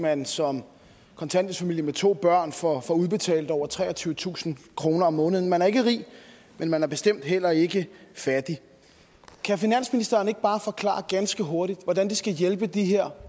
man som kontanthjælpsfamilie med to børn får udbetalt over treogtyvetusind kroner om måneden man er ikke rig men man er bestemt heller ikke fattig kan finansministeren ikke bare forklare ganske hurtigt hvordan det skal hjælpe de her